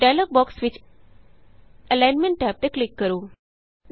dialog box ਵਿਚ alignment tab ਤੇ click ਕਰੋ